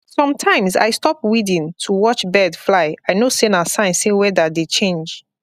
sometimes i stop weeding to watch bird fly i know say na sign say weather dey change